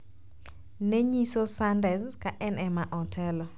nenyiso Sanders kaen ema otelo,